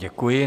Děkuji.